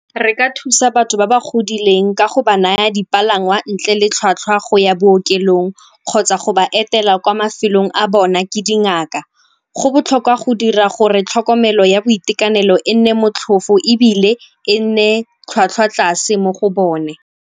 Re ka thusa batho ba ba godileng ka go ba naya dipalangwa ntle le tlhwatlhwa go ya bookelong kgotsa go ba etela kwa mafelong a bona ke dingaka. Go botlhokwa go dira gore tlhokomelo ya boitekanelo e nne motlhofo ebile e nne tlhwatlhwa tlase mo go bone.